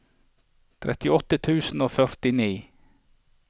trettiåtte tusen og førtini